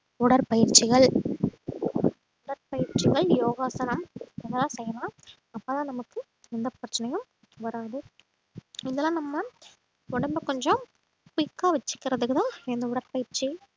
உடற்பயிற்சிகள் உடற்பயிற்சிகள் யோகாசனம் அதெல்லாம் செய்யலாம் அப்பதான் நமக்கு எந்த பிரச்சனையும் வராது இதெல்லாம் நம்ம உடம்பை கொஞ்சம் கா வச்சுக்குறதுக்கு தான் இந்த உடற்பயிற்சி